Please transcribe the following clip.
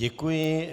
Děkuji.